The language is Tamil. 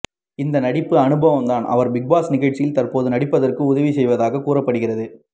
இந்த நடிப்பு அனுபவம் தான் அவர் பிக்பாஸ் நிகழ்ச்சியில் தற்போது நடிப்பதற்கு உதவி செய்வதாக கூறப்படுகிறது